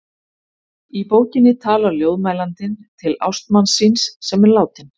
Í bókinni talar ljóðmælandinn til ástmanns síns sem er látinn.